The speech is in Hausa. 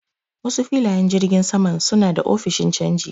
Wasu filayen jirgin saman suna da ofishin canji.